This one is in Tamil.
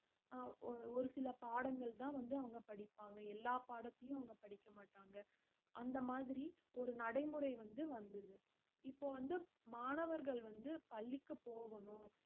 ஆஹ் ஒ~ ஒரு சில பாடங்கள்தான் வந்து அவங்க படிப்பாங்க எல்லா பாடத்தையும், அவங்க படிக்க மாட்டாங்க அந்த மாதிரி ஒரு நடைமுறை வந்து வந்தது இப்போ வந்து மாணவர்கள் வந்து பள்ளிக்கு போகணும்